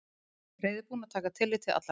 Reiðubúinn að taka tillit til allra.